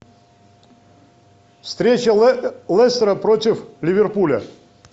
встреча лестера против ливерпуля